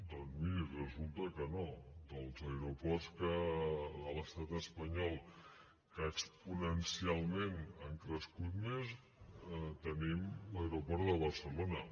doncs miri resulta que no dels aeroports de l’estat espanyol que exponencialment han crescut més tenim l’aeroport de barcelona